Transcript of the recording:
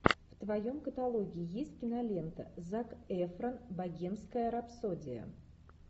в твоем каталоге есть кинолента зак эфрон богемская рапсодия